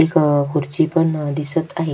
एक खुर्ची पण दिसत आहे.